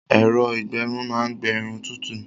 Ẹ̀rọ-ìgbẹrun máa ń gbé Irun tútù